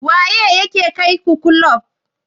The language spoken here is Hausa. Waye ya kai ku kulub?